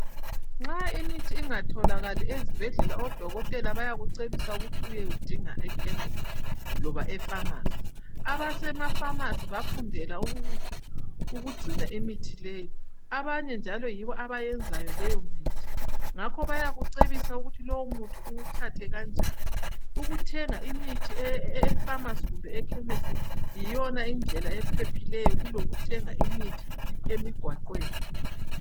Nxa imithi ingatholakali ezibhedlela odokotela bayakucebisa ukuthi uyewudinga ekhemisi loba efamasi. Abasemafamasi bafundela ukugcina imithi leyi. Abanye njalo yibo abayenzayo leyomithi. Ngakho bayakucebisa ukuthi lowu umuthi uwuthathe kanjani. Ukuthenga imithi efamasi kumbe ekhemisi yiyona indlela ephephileyo kulokuthenga imithi emigwaqweni.